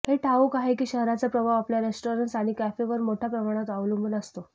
हे ठाऊक आहे की शहराचा प्रभाव आपल्या रेस्टॉरंट्स आणि कॅफेवर मोठ्या प्रमाणात अवलंबून असतो